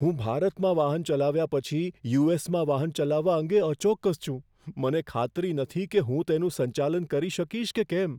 હું ભારતમાં વાહન ચલાવ્યા પછી યુ.એસ.માં વાહન ચલાવવા અંગે અચોક્કસ છું. મને ખાતરી નથી કે હું તેનું સંચાલન કરી શકીશ કે કેમ.